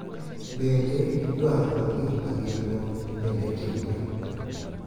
Bende, dwaro kod gik ma gin-go bende timore.